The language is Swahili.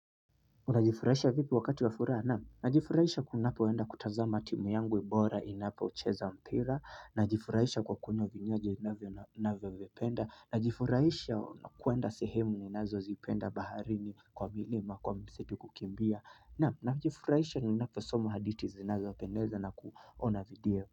Unajifurahisha vipi wakati wa furaha naam, najifurahisha kunapoenda kutazama timu yangwe bora inapocheza mpira najifurahisha kwa kunywa vinywaji ninavyovipenda najifurahisha kuenda sehemu ninazo zipenda baharini kwa milima kwa msitu kukimbia naam najifurahisha ninaposoma haditi zinazo pendeza na kuona video.